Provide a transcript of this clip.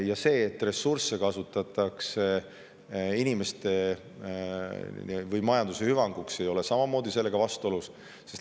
Ja see, et ressursse kasutatakse inimeste või majanduse hüvanguks, ei ole samuti sellega vastuolus.